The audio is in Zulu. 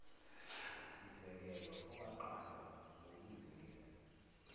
sisekelo owaqanjwa ngukuzinikela